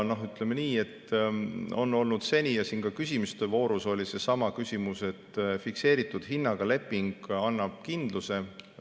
Seni on olnud nii ja siin ka küsimuste voorus oli kõne all seesama küsimus, et fikseeritud hinnaga leping annab kindluse.